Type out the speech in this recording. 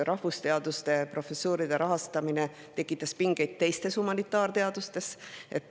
Rahvusteaduste professuuride rahastamine tekitas seal pingeid teiste humanitaarteadlaste seas.